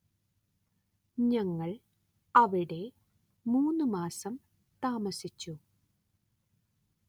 ഞങ്ങള്‍ അവിടെ മൂന്ന് മാസം താമസിച്ചു